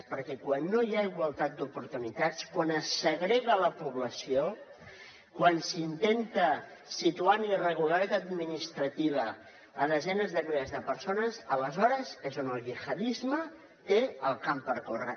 perquè quan no hi ha igualtat d’oportunitats quan es segrega la població quan s’intenta situar en irregularitat administrativa a desenes de milers de persones aleshores és on el gihadisme té el camp per córrer